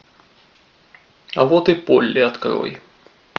а вот и полли открой